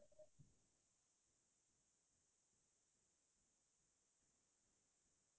থিক তেনেকে চিনেমাও মই আমাৰ দৈনন্দিন জীৱনতৰ লগত মিলিব পৰা চিনেমা চাই ভাল পাও